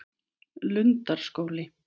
Lundarskóli